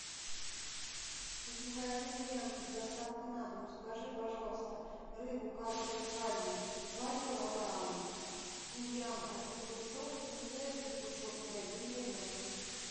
из магазина лента с доставкой на дом закажи пожалуйста рыбу карп зеркальный два килограмма тимьян один пучок кинзы один пучок и один лимон